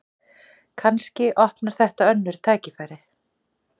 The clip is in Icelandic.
Kannski opnar þetta önnur tækifæri